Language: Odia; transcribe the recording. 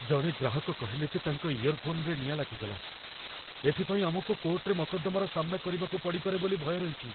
ଜଣେ ଗ୍ରାହକ କହିଲେ ଯେ ତାଙ୍କ ଇଅର୍‌ଫୋନ୍‌ରେ ନିଆଁ ଲାଗିଗଲା । ଏଥିପାଇଁ ଆମକୁ କୋର୍ଟ୍‌ରେ ମକଦ୍ଦମାର ସାମ୍ନା କରିବାକୁ ପଡ଼ିପାରେ ବୋଲି ଭୟ ରହିଚି ।